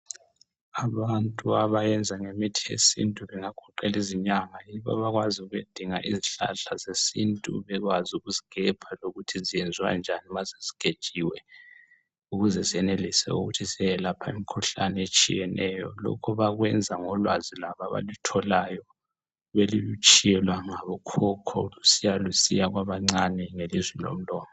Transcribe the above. Abantu abayenza ngemithi yesiNtu bangagoqela izinyanga yibo abakwazi ukuyedinga izihlahla zesintu bayezigebha. Bayakwazi ukuthi zenziwa njani nxa sezigejiwe ukuze zenelise ukwelapha imikhuhlane etshiyeneyo ngolwazi lwabo abaluthola kubokhokho lusiya kwabancane ngelizwi lomlomo.